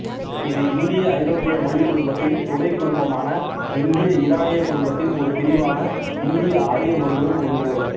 இது இந்தியஐரோப்பிய மொழிக் குடும்பத்தின் துணைக் குடும்பமான இந்தியஈரானியக் குடும்பத்தின் ஒரு பிரிவான இந்தியஆரிய மொழிகளுள் ஒன்று